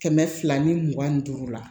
Kɛmɛ fila ni mugan ni duuru la